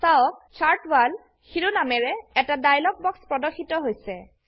চাওক chart wall শিৰোনামেৰে এটা ডায়লগ বক্স প্ৰদৰ্শিত হৈছে